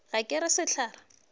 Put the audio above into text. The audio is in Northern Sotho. ga ke re sehlare se